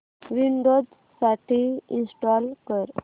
Windows साठी install कर